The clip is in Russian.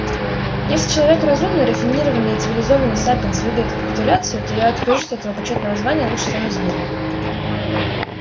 если человек разумный рафинированный и цивилизованный сапиенс выбирает капитуляцию то я откажусь от этого почётного звания и лучше стану зверем